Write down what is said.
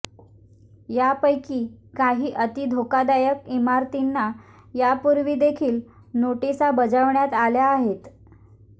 यापैकी काही अति धोकादायक इमारतींना यापूर्वी देखील नोटीसा बजावण्यात आल्या आहेत